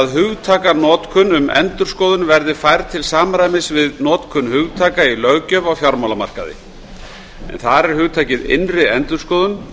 hugtakanotkun um endurskoðun verði færð til samræmis við notkun hugtaka í löggjöf á fjármálamarkaði en þar er hugtakið innri endurskoðun